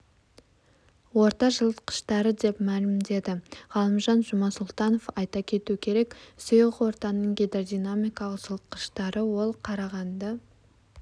орта жылытқыштары деп мәлімдеді ғалымжан жұмасұлтанов айта кету керек сұйық ортаның гидродинамикалық жылытқыштары ол қарағанды